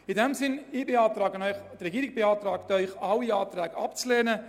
In diesem Sinn beantragt Ihnen die Regierung, alle Anträge abzulehnen.